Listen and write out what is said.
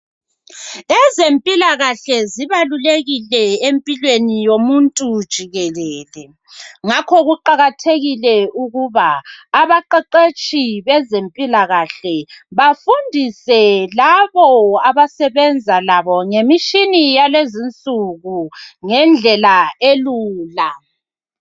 Ezempilakahle zibalulekile empilweni yomuntu jikelele ngakho kuqakathekile ukuba abaqeqetshi bezempilakahle bafundise labo abasebenza labo ngemishina yakulezi insuku ngendlela elula.